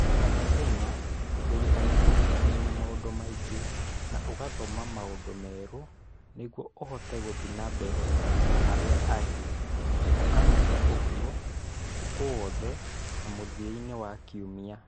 O mũthenya, wĩrutanagĩria kũmenya maũndũ maingĩ na ũgathoma maũndũ merũ nĩguo ũhote gũthiĩ na mbere na arĩa angĩ, na ũkameka ũguo ũtukũ wothe na mũthia-inĩ wa kiumia